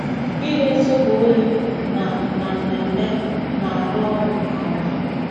Ịre zobo oyi na na mmemme na-arụ ọrụ nke ọma.